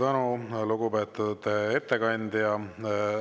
Suur tänu, lugupeetud ettekandja!